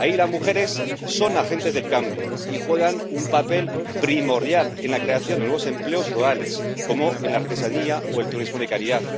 Ahí las mujeres son agentes del cambio y juegan un papel primordial en la creación de nuevos empleos rurales, como en la artesanía o el turismo de calidad.